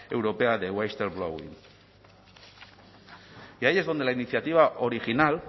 europea de whistleblowing y ahí es donde la iniciativa original